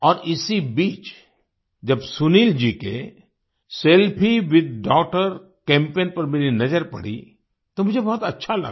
और इसी बीच जब सुनील जी के सेल्फी विथ डॉगटर कैम्पेन पर मेरी नजर पडी तो मुझे बहुत अच्छा लगा